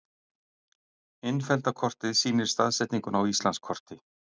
Innfellda kortið sýnir staðsetninguna á Íslandskorti.